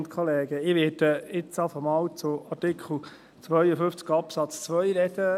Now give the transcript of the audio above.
Ich werde jetzt erst einmal zu Artikel 52 Absatz 2 sprechen.